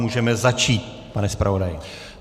Můžeme začít, pane zpravodaji.